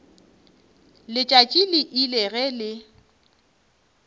letšatši le ile ge le